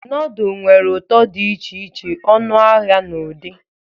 Nudul nwere ụtọ dị iche iche, ọnụahịa na ụdị.